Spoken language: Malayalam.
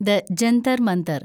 ദ ജന്തർ മന്തർ